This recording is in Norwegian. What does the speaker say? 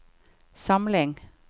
samling